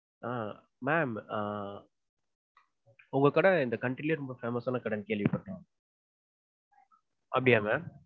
ஆஹ் ma'am உங்க கடை இந்த country லயே ரொம்ப famous ஆன கடைன்னு கேள்விப்பட்டிருக்கேன். அப்படியா mam?